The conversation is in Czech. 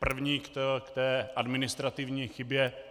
První k té administrativní chybě.